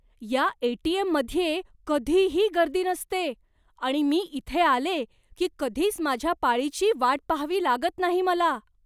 या ए.टी.एम.मध्ये कधीही गर्दी नसते आणि मी इथे आले की कधीच माझ्या पाळीची वाट पहावी लागत नाही मला.